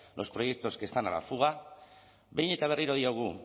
los proyectos que están a la fuga behin eta berriro diogu